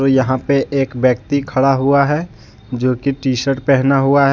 और यहाँ पे एक व्यक्ति खड़ा हुआ है जोकि टीशर्ट पहना हुआ है।